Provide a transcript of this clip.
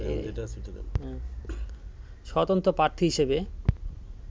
স্বতন্ত্র প্রার্থী হিসেবে